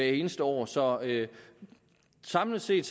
eneste år så samlet set